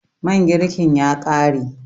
man girkin ya kare?